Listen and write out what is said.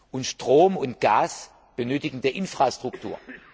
Und Strom und Gas benötigen Infrastruktur.